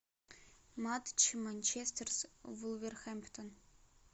матч манчестер с вулверхэмптон